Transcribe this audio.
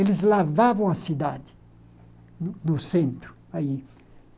Eles lavavam a cidade no no centro aí.